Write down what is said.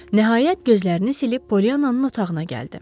Nəhayət, gözlərini silib Polyananın otağına gəldi.